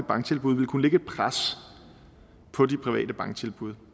banktilbud ville kunne lægge et pres på de private banktilbud